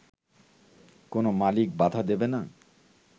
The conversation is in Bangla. কোন মালিক বাধা দেবে না